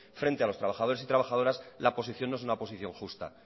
frente a los trabajadores y trabajadoras la posición no es una posición justa